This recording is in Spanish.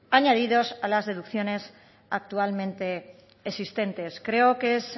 añadidos a las deducciones actualmente existentes creo que es